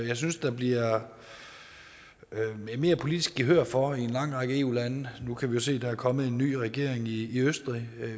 jeg synes der bliver mere politisk gehør for i en lang række eu lande nu kan vi se at der er kommet en ny regering i østrig